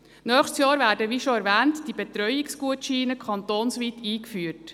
Wie bereits erwähnt werden nächstes Jahr die Betreuungsgutscheine kantonsweit eingeführt.